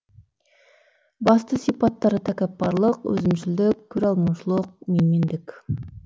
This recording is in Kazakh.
басты сипаттары тәкаппарлық өзімшілдік көре алмаушылық менмендік